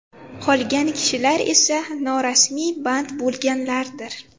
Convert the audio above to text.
Qolgani kishilar esa norasmiy band bo‘lganlardir.